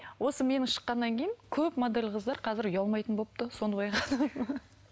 осы менің шыққаннан кейін көп модель қазір қыздар ұялмайтын болыпты соны байқадым